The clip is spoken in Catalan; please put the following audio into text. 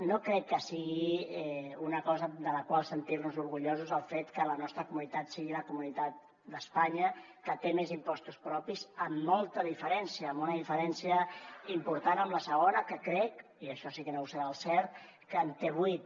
no crec que sigui una cosa de la qual sentir nos orgullosos el fet que la nostra comunitat sigui la comunitat d’espanya que té més impostos propis amb molta diferència amb una diferència important amb la segona que crec i això sí que no ho sé del cert que en té vuit